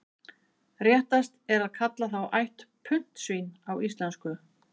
Réttast er að kalla þá ætt puntsvín á íslensku.